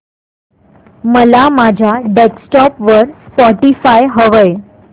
मला माझ्या डेस्कटॉप वर स्पॉटीफाय हवंय